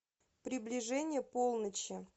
приближение полночи